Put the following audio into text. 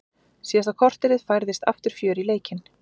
Síðasta korterið færðist aftur fjör í leikinn.